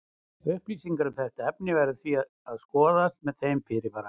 Upplýsingar um þetta efni verður því að skoðast með þeim fyrirvara.